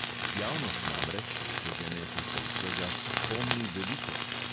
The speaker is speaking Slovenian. Javnost namreč – če že ne čisto vsega – pomni veliko.